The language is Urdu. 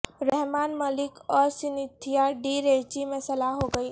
رحمان ملک اور سینتھیا ڈی ریچی میں صلح ہو گئی